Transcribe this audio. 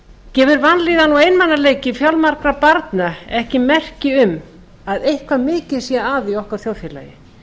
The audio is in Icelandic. gefur vanlíðan og einmanaleiki fjölmargra barna ekki merki um að eitthvað mikið sé að í okkar þjóðfélagi